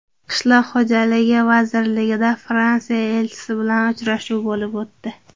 Qishloq xo‘jaligi vazirligida Fransiya elchisi bilan uchrashuv bo‘lib o‘tdi.